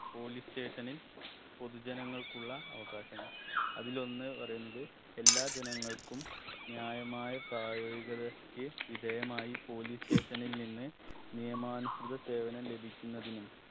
police station ൽ പൊതു ജനങ്ങൾക്കുള്ള അവകാശങ്ങൾ അതിലൊന്ന് പറയുന്നത് എല്ലാ ജനങ്ങൾക്കും ന്യായമായ പ്രയോഗിതക്ക് വിധേയമായി police station ൽ നിന്ന് നിയമാനുസൃത സേവനം ലഭിക്കുന്നതിനും